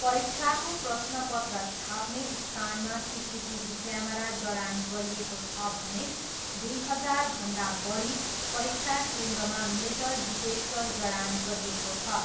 परीक्षाको प्रश्नपत्र छाप्ने स्थानमा सिसिटिभी क्यामेरा जडान गरिएको छ भने दुई हजारभन्दा बढी परीक्षा केन्द्रमा मेटल डिटेक्टर जडान गरिएको छ।